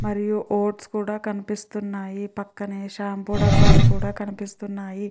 మరియు వోట్స్ కూడా కనిపిస్తునై పక్కనే షాంపూ డబ్బాలు కూడా కనిపిస్తున్నాయి.